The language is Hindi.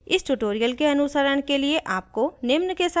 इस tutorial के अनुसरण के लिए आपको निम्न के साथ परिचित होना चाहिए